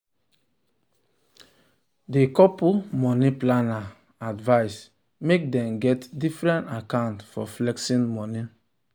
the couple money planner advise make dem get different account for flexing money.